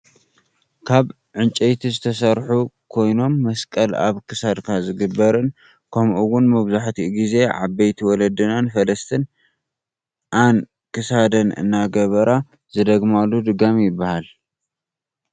ካበ ዕንጨይቲ ዝተሰርሑ ካይኖም መስቀል ኣብ ክሳድካ ዝግበርን ከምኡ እውን መብዛሕቲኡ ግዜ ዓበይቲ ወለድናን ፈለስትን ኣን ክሳደን እናገበራ ዝደግማሉ ድጋም ይብሃል።